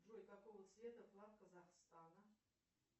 джой какого цвета флаг казахстана